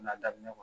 N'a daminɛ